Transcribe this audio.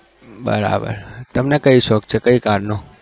બરાબર તમને કઈ શોક છે કઈ car નો